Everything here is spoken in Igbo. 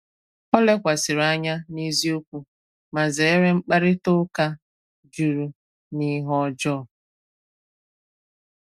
Ọ lekwàsịrì anya nà èzíokwu ma zèrè mkpàrịtà ụ́ka jùrù na ihe ọ́jọọ.